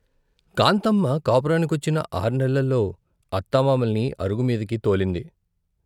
కాంతమ్మ కాపురానికొచ్చిన ఆర్నెల్లలో అత్తమామల్ని అరుగు మీదికి తోలింది.